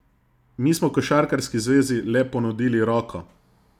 Mi smo košarkarski zvezi le ponudili roko.